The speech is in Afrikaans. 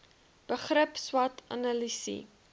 begrip swot analise